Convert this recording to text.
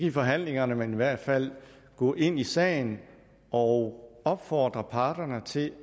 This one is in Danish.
i forhandlingerne men i hvert fald gå ind i sagen og opfordre parterne til